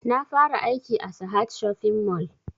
Na fara aiki a sahad shopping mall